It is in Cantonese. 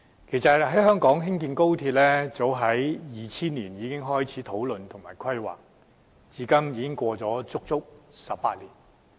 其實，早於2000年，香港便開始討論和規劃高鐵，至今已超過足足18年。